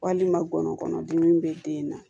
Walima gɔnɔ kɔnɔ dimi bɛ den na